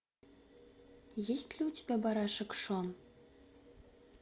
есть ли у тебя барашек шон